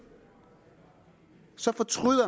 så fortrød